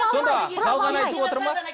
сонда жалған айтып отыр ма